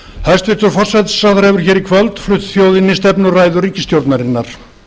hæstvirtur forsætisráðherra hefur hér í kvöld flutt þjóðinni stefnuræðu ríkisstjórnarinnar